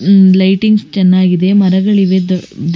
Lightings ಚೆನ್ನಾಗಿದೆ ಮರಗಳಿವೆ ದೊಡ್ಡ ದೇ.